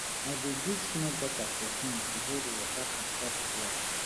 i dey dig small gutter for farm to hold water and stop flood